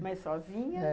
Mas sozinha?